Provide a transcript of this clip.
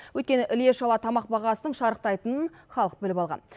өйткені іле шала тамақ бағасының шарықтайтынын халық біліп алған